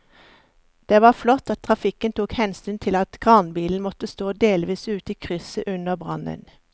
Det var flott at trafikken tok hensyn til at kranbilen måtte stå delvis ute i krysset under brannen.